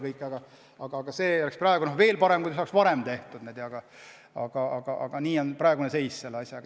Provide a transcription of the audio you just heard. No veel parem oleks, kui kõik saaks varem tehtud, aga selline on praegune seis selle asjaga.